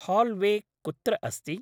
हाल्वे कुत्र अस्ति?